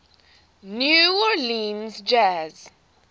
new orleans jazz